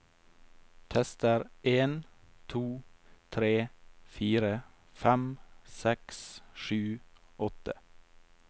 Tester en to tre fire fem seks sju åtte